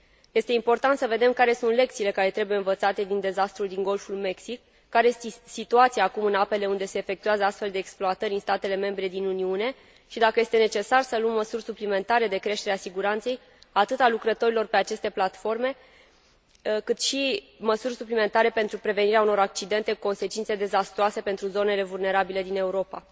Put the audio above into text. Este important să vedem care sunt lecțiile care trebuie învățate din dezastrul din Golful Mexic, care este situația acum în apele unde se efectuează astfel de exploatări în statele membre din Uniune și dacă este necesar să luăm măsuri suplimentare de creștere a siguranței, atât a lucrătorilor pe aceste platforme, cât și măsuri suplimentare pentru prevenirea unor accidente cu consecințe dezastruoase pentru zonele vulnerabile din Europa.